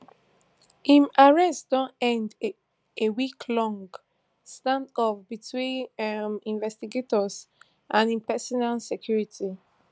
im arrest don end a weeklong standoff between um investigators and im personal security